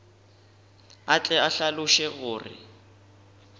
a tle a hlaloše gore